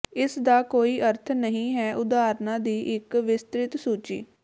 ਇਸ ਦਾ ਕੋਈ ਅਰਥ ਨਹੀਂ ਹੈ ਉਦਾਹਰਨਾਂ ਦੀ ਇੱਕ ਵਿਸਤ੍ਰਿਤ ਸੂਚੀ